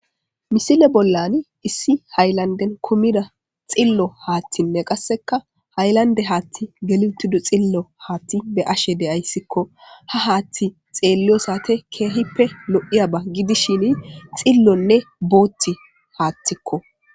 Misile bollan issi haylanden kumida xillo haaththinne qasseka haylande haatti geliltido xillo haatti be ashe deyayssikko ha haathti xeelliyo saate keehippe lo'iya ba gidishini xillonne booti haattikko.